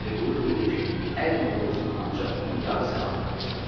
Vəliqulu deyirdi ki, hər nə olur-olsun ancaq onun yarı salamat olsun.